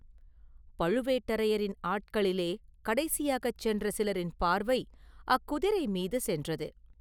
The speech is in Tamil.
பழுவேட்டரையரின் ஆட்களிலே கடைசியாகச் சென்ற சிலரின் பார்வை அக்குதிரை மீது சென்றது.